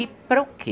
E para o que?